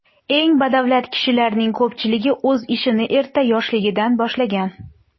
Eng badavlat kishilarning ko‘pchiligi o‘z ishini erta yoshligidan boshlagan.